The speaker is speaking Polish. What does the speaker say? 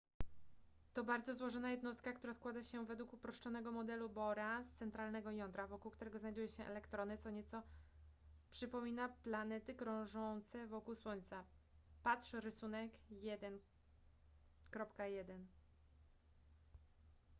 to bardzo złożona jednostka która składa się według uproszczonego modelu bohra z centralnego jądra wokół którego znajdują się elektrony co nieco przypomina planety krążące wokół słońca patrz rysunek 1.1